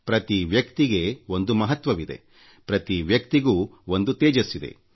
ಪ್ರತಿ ವ್ಯಕ್ತಿಗೂ ಒಂದು ಮಹತ್ವವಿದೆ ಪ್ರತಿ ವ್ಯಕ್ತಿಗೂ ಒಂದು ತೇಜಸ್ಸಿದೆ